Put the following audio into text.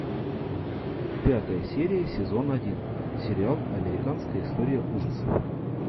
пятая серия сезон один сериал американская история ужасов